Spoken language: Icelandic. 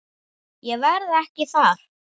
Ég verð ekki þar.